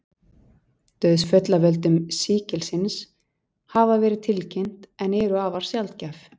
Dauðsföll af völdum sýkilsins hafa verið tilkynnt en eru afar sjaldgæf.